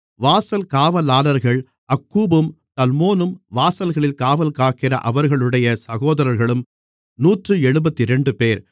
வாசல் காவலாளர்கள் அக்கூபும் தல்மோனும் வாசல்களில் காவல்காக்கிற அவர்களுடைய சகோதரர்களும் நூற்று எழுபத்திரண்டுபேர்